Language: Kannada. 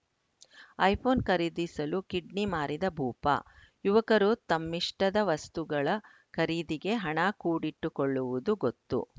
ಐಫೋನ್‌ ಖರೀದಿಸಲು ಕಿಡ್ನಿ ಮಾರಿದ ಭೂಪ ಯುವಕರು ತಮ್ಮಿಷ್ಟದ ವಸ್ತುಗಳ ಖರೀದಿಗೆ ಹಣ ಕೂಡಿಟ್ಟುಕೊಳ್ಳುವುದು ಗೊತ್ತು